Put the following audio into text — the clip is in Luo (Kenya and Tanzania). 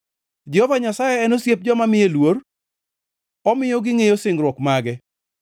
Jehova Nyasaye en osiep joma miye luor; omiyo gingʼeyo singruok mage.